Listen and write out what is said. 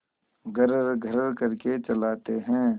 घर्रघर्र करके चलाते हैं